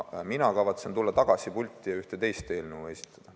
Mina kavatsen tulla tagasi pulti ja ühte teist eelnõu teile esitleda.